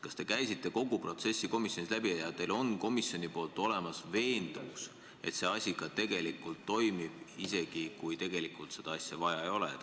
Kas te käisite komisjonis kogu selle protsessi läbi ja teil on komisjonis olemas veendumus, et see asi ka tegelikult toimib, isegi kui seda tegelikult vaja ei ole?